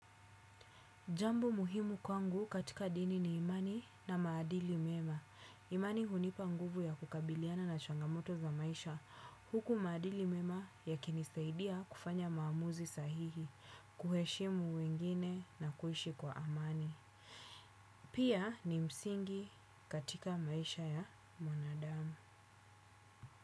Jambo muhimu kwangu katika dini ni imani na maadili mema. Imani hunipa nguvu ya kukabiliana na changamoto za maisha. Huku maadili mema yakinisaidia kufanya maamuzi sahihi, kuheshimu wengine na kuishi kwa amani. Pia ni msingi katika maisha ya mwanadamu.